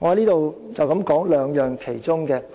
讓我在此只談談其中兩個。